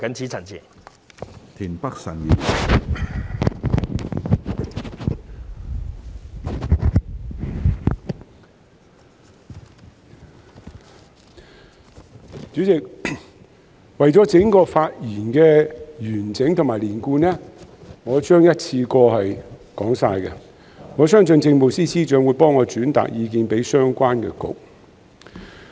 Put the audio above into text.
主席，為了整段發言的完整性及連貫性，我將會一次過表達我的意見，我相信政務司司長會替我轉達意見給相關的政策局。